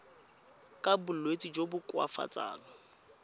ka bolwetsi jo bo koafatsang